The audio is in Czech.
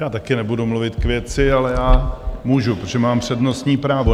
Já taky nebudu mluvit k věci, ale já můžu, protože mám přednostní právo.